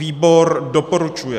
Výbor doporučuje.